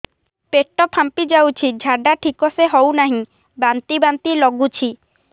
ପେଟ ଫାମ୍ପି ଯାଉଛି ଝାଡା ଠିକ ସେ ହଉନାହିଁ ବାନ୍ତି ବାନ୍ତି ଲଗୁଛି